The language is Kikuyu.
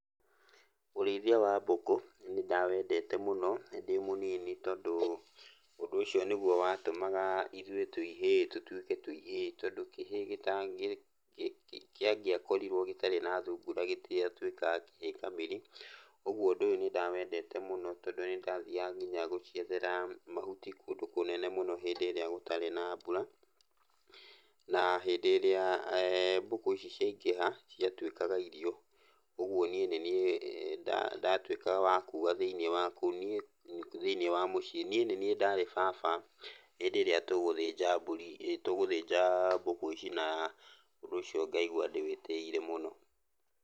Ũrĩithia wa mbũkũ, nĩndawendete mũno ndĩ mũnini, tondũ ũndũ ũcio nĩguo watũmaga ithuĩ twĩ ihĩĩ tũtuĩke twĩ ihĩĩ tondũ kĩhĩĩ gĩtangĩakorirwo gĩtarĩ na thungura gĩtiatuĩkaga kĩhĩĩ kamiri. Ũguo ũndũ ũyũ nĩndawendete mũno tondũ nĩndathiaga kinya gũciethera mahuti kũndũ kũnene mũno hĩndĩ ĩrĩa gũtarĩ na mbura, na hĩndĩ ĩrĩa mbũkũ ici ciaingĩha ciatuĩkaga irio. Ũguo niĩ nĩniĩ ndatuĩkaga wa kuga thĩiniĩ wa kũu, niĩ thiĩniĩ wa mũciĩ. Niĩ nĩniĩ ndarĩ baba, hĩndĩ ĩrĩa tũgũthĩnja mburi, tũgũthĩnja mbũkũ ici, na ũndũ ũcio ngaigua ndĩwĩtĩĩire mũno.